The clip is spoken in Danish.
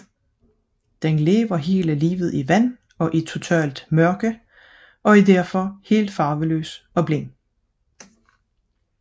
Den lever hele livet i vand og i totalt mørke og er som følge heraf helt farveløs og blind